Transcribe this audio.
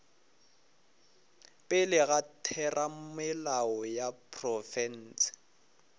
pele ga theramelao ya profense